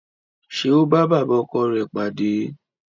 Ṣé ó bá bàbá ọkọ rẹ̀ pàdé?